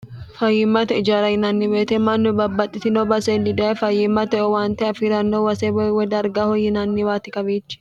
fayiimmate ijara yinanni woyiite mannu babbaxxitino baseeni daye fayiimmate owaante afii'ranno base woyi darga woyi yinanniwaati kawiichi